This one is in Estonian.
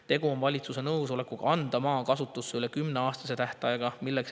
Tegu on valitsuse nõusolekuga anda maa kasutusse üle kümneaastase tähtajaga.